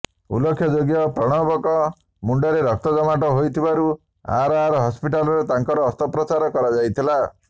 ଉଲ୍ଲେଖଯୋଗ୍ୟ ପ୍ରଣବଙ୍କ ମୁଣ୍ଡରେ ରକ୍ତ ଜମାଟ ହୋଇଥିବାରୁ ଆର୍ ଆର୍ ହସ୍ପିଟାଲରେ ତାଙ୍କର ଅସ୍ତ୍ରୋପଚାର କରା ଯାଇଥିଲା